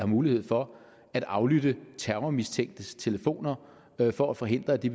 mulighed for at aflytte terrormistænktes telefoner for at forhindre at de